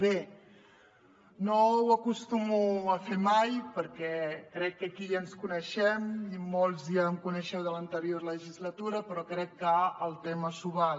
bé no ho acostumo a fer mai perquè crec que aquí ja ens coneixem i molts ja em coneixeu de l’anterior legislatura però crec que el tema s’ho val